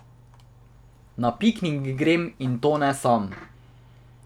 Na piknik grem, in to ne sam.